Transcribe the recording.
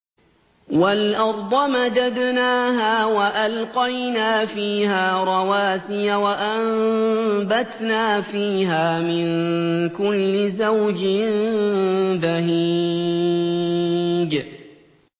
وَالْأَرْضَ مَدَدْنَاهَا وَأَلْقَيْنَا فِيهَا رَوَاسِيَ وَأَنبَتْنَا فِيهَا مِن كُلِّ زَوْجٍ بَهِيجٍ